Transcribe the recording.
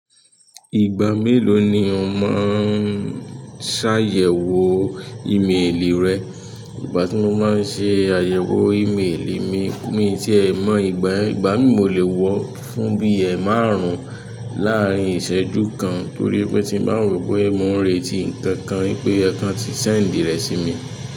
Ìgbà melo ni o maa n sayẹwo imeeli rẹ? Ìgbà tí mo máa ń ṣe àyẹ̀wò ímélì mi mi tí ẹ mọ̀ ìgbà yẹn, ìgbà mìí mo lè wọ ọ́ fún bí i ẹmárùn-ún láàrín ìṣẹ́jú kan torí pé tí n bà n wo pé mo ń retí nǹkan wípé o yẹ kan ti sẹ́ẹ̀ńdì rẹ̀ sí mi.